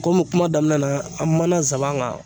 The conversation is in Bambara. Komi kuma daminɛ na an kuma na zaban kan